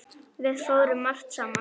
Við fórum margt saman.